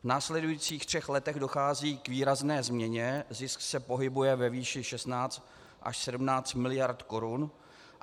V následujících třech letech dochází k výrazné změně, zisk se pohybuje ve výši 16 až 17 miliard korun.